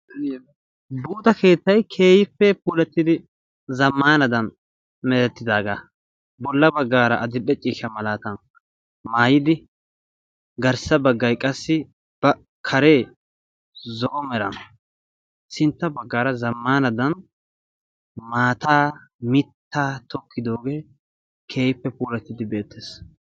buuxa keettay keehippe puulattidi zamaanadan merettidaaga. bolla bagay badil'e ciishadan qassi giddo bagay zo'o meran sintta bagaara zamaanadan maataa mitaa tokkidoogee betees.